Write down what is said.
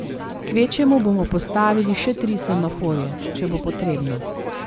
Kvečjemu bomo postavili še tri semaforje, če bo potrebno.